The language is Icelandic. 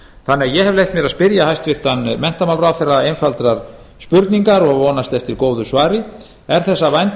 þannig að ég hef leyft mér að spyrja hæstvirtan menntamálaráðherra einfaldrar spurningar og vonast eftir góðu svari er þess að vænta